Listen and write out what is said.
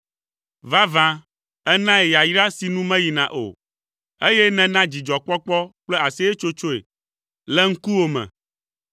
Vavã ènae yayra si nu meyina o, eye nèna dzidzɔkpɔkpɔ kple aseyetsotsoe le ŋkuwò me.